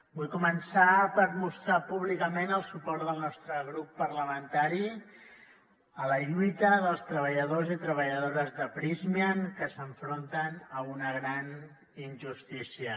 vull començar per mostrar públicament el suport del nostre grup parlamentari a la lluita dels treballadors i treballadores de prysmian que s’enfronten a una gran injustícia